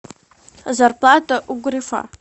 зарплата у грефа